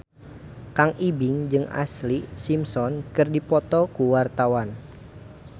Kang Ibing jeung Ashlee Simpson keur dipoto ku wartawan